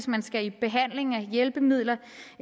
man skal i behandling have hjælpemidler